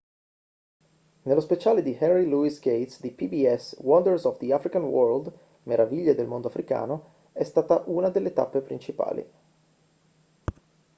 nello speciale di henry louis gates di pbs wonders of the african world meraviglie del mondo africano è stata una delle tappe principali